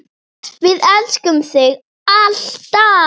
Við elskum þig, alltaf.